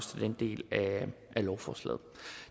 den del af lovforslaget